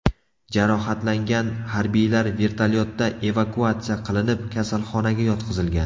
Jarohatlangan harbiylar vertolyotda evakuatsiya qilinib, kasalxonaga yotqizilgan.